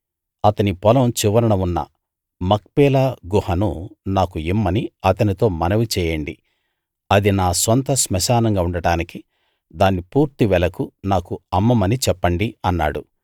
అతని పొలం చివరన ఉన్న మక్పేలా గుహను నాకు ఇమ్మని అతనితో మనవి చేయండి అది నా సొంత స్మశానంగా ఉండటానికి దాన్ని పూర్తి వెలకు నాకు అమ్మమని చెప్పండి అన్నాడు